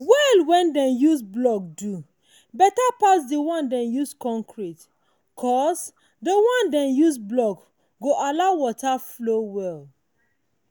well wen dem use block do betta pass de one dem use concrete cos de one dem use block go allow water flow well.